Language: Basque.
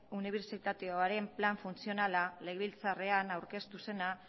unibertsitarioaren plan funtzionala legebiltzarrean aurkeztu zena